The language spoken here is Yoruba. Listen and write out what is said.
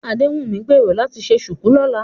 Adéwùnmí ń gbèrò láti ṣe ṣùkú lọ́la